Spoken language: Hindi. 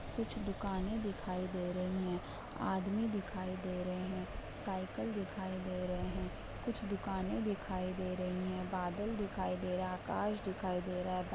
कुछ दुकाने दिखाई दे रही हैं आदमी दिखाई दे रहें हैं साइकल दिखाई दे रहे हैं कुछ दुकाने दिखाई दे रहीं हैं बादल दिखाई दे रहा आकाश दिखाई दे रहा है। बा --